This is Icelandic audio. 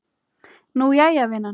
Nú, jæja, vinan.